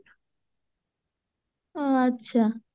ଆଁ ଆଛା